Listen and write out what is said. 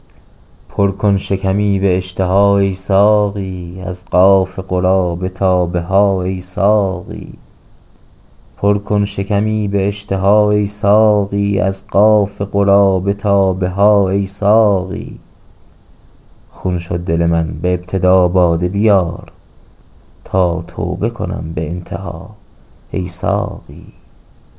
پر کن شکمی به اشتها ای ساقی از قاف قرابه تابهها ای ساقی خون شد دل من به ابتدا باده بیار تاتوبه کنم به انتها ای ساقی